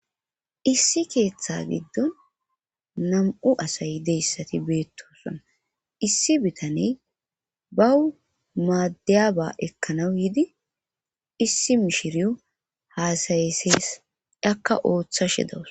issi keeththa giddon nam7u asay deyssati beettosona issi bitaney bawu maaddiyaba ekkanawu yidi issi mishiriwo haasayesees akka ooththashe dawus